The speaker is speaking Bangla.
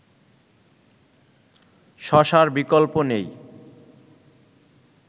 শশার বিকল্প নেই